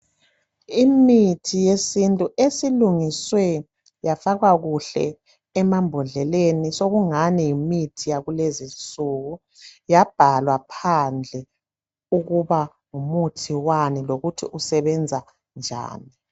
Imithi yesintu esilungiswe yafakwa kuhle emambodleleni sokungani yimithi yakulezinsuku yabhalwa phandle ukuba ngumuthi wani lokuthi usebenza njani.